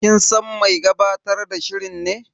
Kin san mai gabatar da shirin ne?